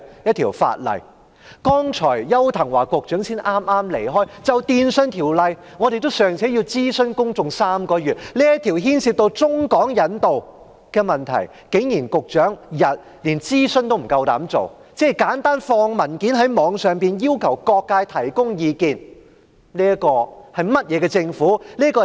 邱騰華局長剛剛離席，他就《2019年廣播及電訊法例條例草案》尚且要諮詢公眾3個月，但這個牽涉到中港引渡的問題，局長竟然連諮詢，即簡單上載文件到網上，要求各界提供意見也不敢做。